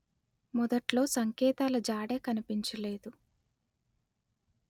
మొదట్లో సంకేతాల జాడే కనిపించలేదు